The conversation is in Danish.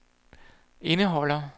indeholder